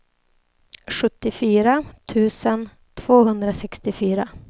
sjuttiofyra tusen tvåhundrasextiofyra